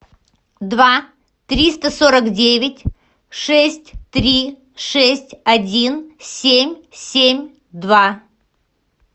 два триста сорок девять шесть три шесть один семь семь два